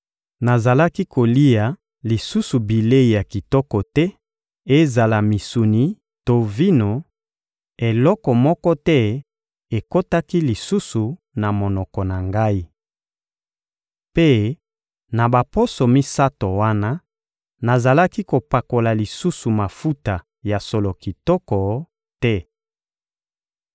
Nazalaki kolia lisusu bilei ya kitoko te; ezala misuni to vino, eloko moko te ekotaki lisusu na monoko na ngai. Mpe, na baposo misato wana, nazalaki kopakola lisusu mafuta ya solo kitoko te.